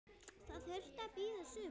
Það þurfti að bíða sumars.